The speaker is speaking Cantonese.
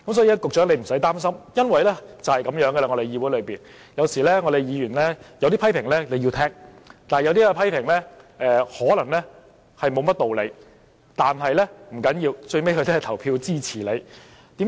因此，局長，你不用擔心，議會便是如此，議員有些批評你要聽，但有些批評可能無甚道理，不要緊，他最後也會投票支持你。